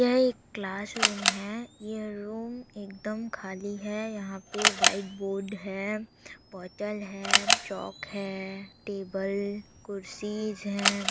यह एक क्लासरूम है यह रूम है एकदम खाली है यहाँ पर व्हाइट बोर्ड है बोटल है चोक है टेबल कुर्सीस है।